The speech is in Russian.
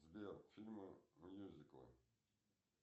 сбер фильмы мьюзиклы